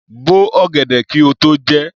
Bo ọ̀gẹ̀dẹ̀ kí o tó jẹ ẹ́!